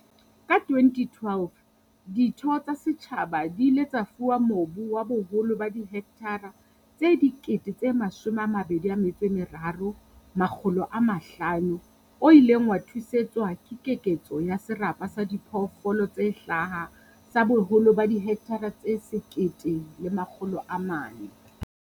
Ka 2012, ditho tsa setjhaba di ile tsa fuwa mobu wa boholo ba dihekthara tse 23 500 o ileng wa thusetswa ka keketso ya serapa sa diphoofolo tse hlaha sa boholo ba dihekthara tse 1 400.